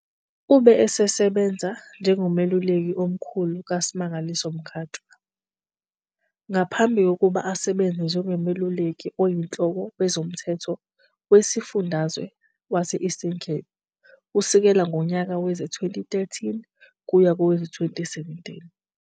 Ube esesebenza njengomeluleki omkhulu kaSmangaliso Mkhatshwa, ngaphambi kokuba asebenze njengoMeluleki Oyinhloko Wezomthetho Wezifundazwe wase-Eastern Cape kusukela ngonyaka wezi-2013 kuya kowezi-2017.